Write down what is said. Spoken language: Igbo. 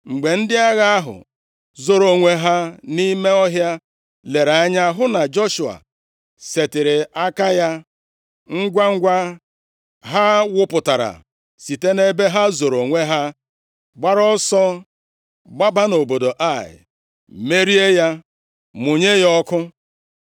Mgbe ndị agha ahụ zoro onwe ha nʼime ọhịa lere anya hụ na Joshua setịrị aka ya, ngwangwa, ha wụpụtara site nʼebe ha zoro onwe ha, gbara ọsọ gbaba nʼobodo Ai, merie ya, mụnye ya ọkụ.